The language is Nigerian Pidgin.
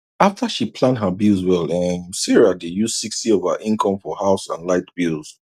after she plan her bills well um sarah dey use 60 of her income for house and light bills